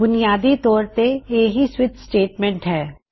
ਬੁਨਿਆਦੀ ਤੌਰ ਤੇ ਇਹ ਹੀ ਸਵਿਚ ਸਟੇਟਮੈਂਟ ਹੈ